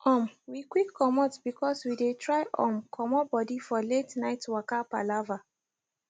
um we quick comot because we dey try um comot body for late night waka palava